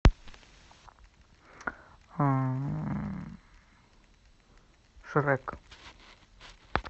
шрек